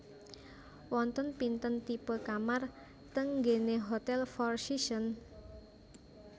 Wonten pinten tipe kamar teng nggene Hotel Four Seasons?